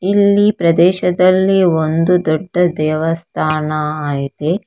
ಇಲ್ಲಿ ಪ್ರದೇಶದಲ್ಲಿ ಒಂದು ದೊಡ್ಡ ದೇವಸ್ಥಾನ ಇದೆ.